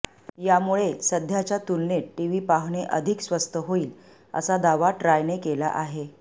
यामुळे सध्याच्या तुलनेत टीव्ही पाहणे अधिक स्वस्त होईल असा दावा ट्रायने केला आहे